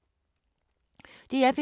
DR P3